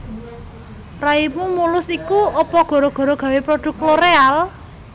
Raimu mulus iku opo gara gara gawe produk Loreal?